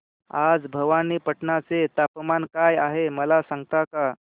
आज भवानीपटना चे तापमान काय आहे मला सांगता का